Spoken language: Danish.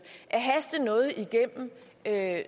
at